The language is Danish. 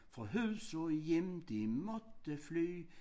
Fra hus og hjem de måtte fly